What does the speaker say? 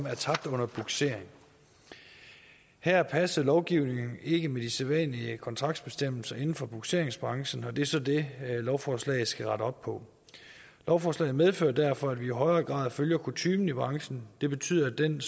er tabt under bugsering her passede lovgivningen ikke med de sædvanlige kontraktbestemmelser inden for bugseringsbranchen og det er så det lovforslaget skal rette op på lovforslaget medfører derfor at vi i højere grad følger kutymen i branchen det betyder at den